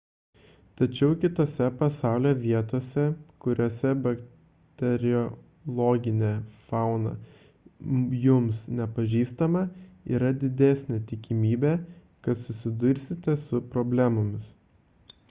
tačiau kitose pasaulio vietose kuriose bakteriologinė fauna jums nepažįstama yra didesnė tikimybė kad susidursite su problemomis